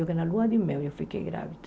na lua de mel eu fiquei grávida.